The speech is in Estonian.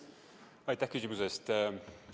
Aitäh küsimuse eest!